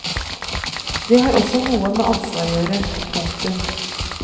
Det har også noe med ansvar å gjøre. punktum